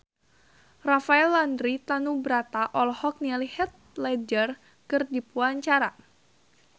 Rafael Landry Tanubrata olohok ningali Heath Ledger keur diwawancara